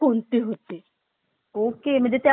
okay म्हणजे त्यामध्ये पकडले पण गेले